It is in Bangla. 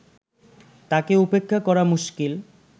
তাকে উপেক্ষা করা মুশকিল